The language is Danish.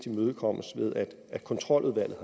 imødekommes ved at det er kontroludvalget